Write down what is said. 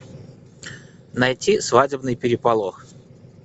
найти свадебный переполох